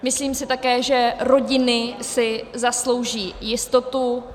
Myslím si také, že rodiny si zaslouží jistotu.